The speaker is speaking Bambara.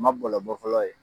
Ma bɔlɔ bɔ fɔlɔ ye